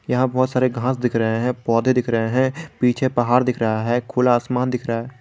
यहां बहोत सारे घास दिख रहे हैं पौधे दिख रहे हैं पीछे पहाड़ दिख रहा है खुला आसमान दिख रहा--